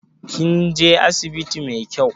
Kin je asibiti mai kyau?